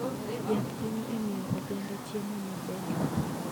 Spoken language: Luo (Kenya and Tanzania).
Yath konyo e miyo oganda chiemo maber.